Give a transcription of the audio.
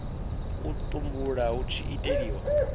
u tumbulwa hu tshi itelwa